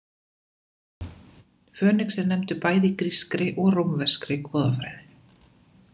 Fönix er nefndur bæði í grískri og rómveskri goðafræði.